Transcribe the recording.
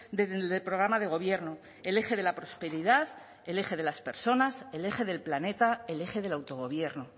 del programa de gobierno el eje de la prosperidad el eje de las personas el eje del planeta el eje del autogobierno